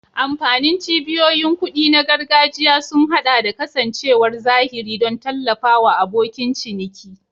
Amfanin cibiyoyin kuɗi na gargajiya sun haɗa da kasancewar zahiri don tallafawa abokin ciniki.